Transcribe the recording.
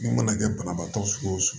Mun mana kɛ banabaatɔ sugu o sugu